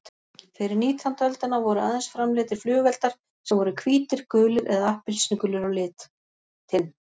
Fyrir nítjándu öldina voru aðeins framleiddir flugeldar sem voru hvítir, gulir eða appelsínugulir á litinn.